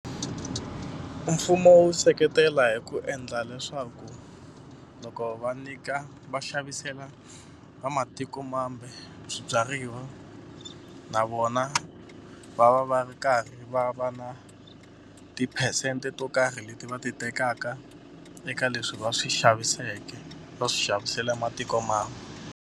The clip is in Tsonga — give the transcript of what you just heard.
Mfumo wu seketela hi ku endla leswaku loko va nyika va xavisela vamatikomambe swibyariwa na vona vona va va va ri karhi va va na tiphesente to karhi leti va ti tekaka eka leswi va swi xaviseke va swi xavisela matikomambe.